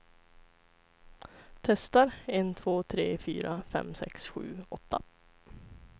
Testar en två tre fyra fem sex sju åtta.